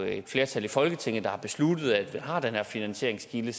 er et flertal i folketinget der har besluttet at vi har den her finansieringskilde